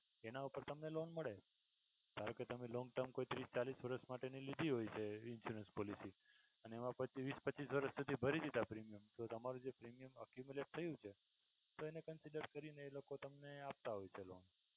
એના ઉપર તમને loan મળે ધારોકે તમે long term કોઈ ત્રીસ ચાલીસ વર્ષ માટેની લીધી હોય છે insurance policy અને એમા પછી વીસ પચીસ વર્ષ સુધી ભરી દીધા premium તમારું જે premium થયું છે તો એને consider કરીને એ લોકો તમને આપતા હોય છે લોન.